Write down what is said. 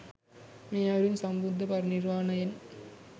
මේ අයුරින් සම්බුද්ධ පරිනිර්වාණයෙන්